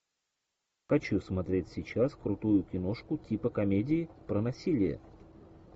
хочу смотреть сейчас крутую киношку типа комедии про насилие